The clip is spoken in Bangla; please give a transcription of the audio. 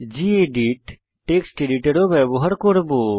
গেদিত টেক্সট এডিটর ও ব্যবহার করব